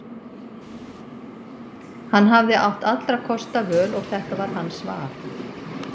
Hann hafði átt allra kosta völ og þetta var hans val.